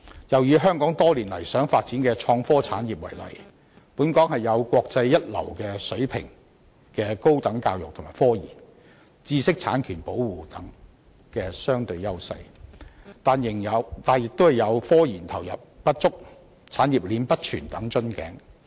又以本港多年來想發展的創科產業為例，本港有國際一流水平的高等教育及科研，以及知識產權等方面的相對優勢，但亦有科研投入不足、產業鏈不全等瓶頸。